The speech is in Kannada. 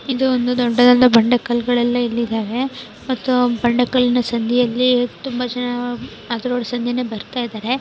ಇದು ಒಂದು ದೊಡ್ಡದಾದ ಬಂಡೆ ಕಳ್ಲಗಲ್ಲೆಲ್ಲ ಇಲ್ಲಿ ಇದಾವೆ. ಮತ್ತು ಬಂಡೆ ಕಲ್ಲಿನ ಸಂದಿಯಲ್ಲಿ ತುಂಬಾ ಜನ ಅದ್ರೊಳ ಸಂದಿ ಬರ್ತಾ ಇದಾರೆ.